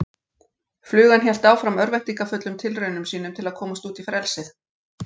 Flugan hélt áfram örvæntingarfullum tilraunum sínum til að komast út í frelsið.